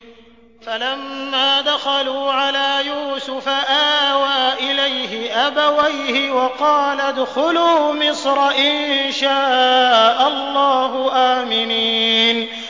فَلَمَّا دَخَلُوا عَلَىٰ يُوسُفَ آوَىٰ إِلَيْهِ أَبَوَيْهِ وَقَالَ ادْخُلُوا مِصْرَ إِن شَاءَ اللَّهُ آمِنِينَ